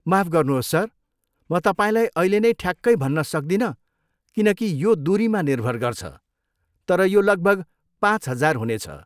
माफ गर्नुहोस् सर, म तपाईँलाई अहिले नै ठ्याक्कै भन्न सक्दिनँ किनकि यो दुरीमा निर्भर गर्छ, तर यो लगभग पाँच हजार हुनेछ।